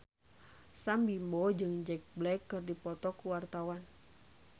Sam Bimbo jeung Jack Black keur dipoto ku wartawan